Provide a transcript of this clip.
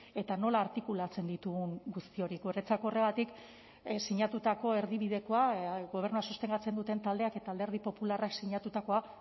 eta nola artikulatzen ditugun guzti hori guretzat horregatik sinatutako erdibidekoa gobernua sostengatzen duten taldeak eta alderdi popularrak sinatutakoa